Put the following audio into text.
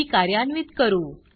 ही कार्यान्वित करू